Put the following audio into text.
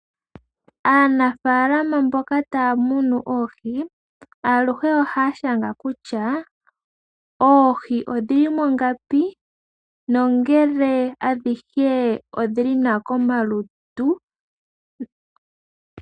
Aanafaalama mboka taya munu oohi, aluhe ohaya shanga kutya oohi odhili mo ngapi ele odhi li mongapi, nongele adhihe odhi li nawa komalutu.